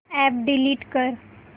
app delete कर